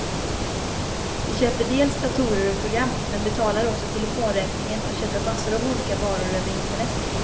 Vi köper dels datorer och program, men betalar också telefonräkningen och köper massor av olika varor över internet.